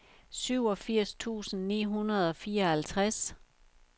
syvogfirs tusind ni hundrede og fireoghalvtreds